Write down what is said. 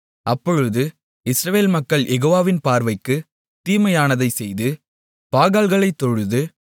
அப்பொழுது இஸ்ரவேல் மக்கள் யெகோவாவின் பார்வைக்கு தீமையானதைச் செய்து பாகால்களைத் தொழுது